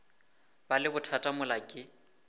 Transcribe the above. ba le bothata mola ke